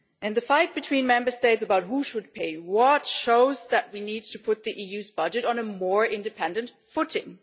The fight between Member States about who should pay what shows that we need to put the EU's budget on a more independent footing.